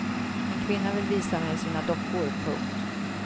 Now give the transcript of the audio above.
En kvinna vill visa mig sina dockor. punkt